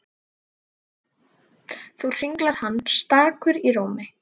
Nú hringlar hann stakur í tómi.